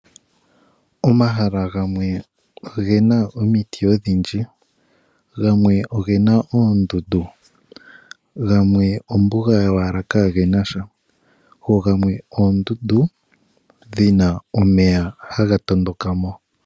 Omahala gamwe ogena omiti odhindji, gamwe ogena oondundu, gamwe ombuga yowala kagenasha go gamwe oondundu dhina omeya haga tondokamo.